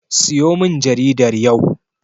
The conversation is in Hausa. Siyomin jaridar yau.